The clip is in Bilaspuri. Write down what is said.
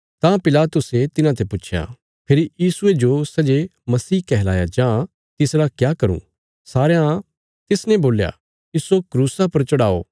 तां पिलातुसे तिन्हांते पुच्छया फेरी यीशुये जो सै जे मसीह कहलाया जां तिसरा क्या करूँ सारयां तिसने बोल्या इस्सो क्रूसा पर चढ़ाओ